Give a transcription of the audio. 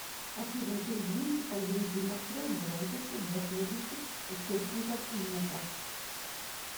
афина передвиньте ползунки настроек громкости для следующих источников звука